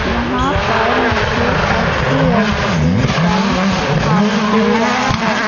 यहां पर मुझे एच_डी_एफ_सी बैंक दिखाई दे रहा है।